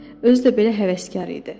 Özü də belə həvəskar idi.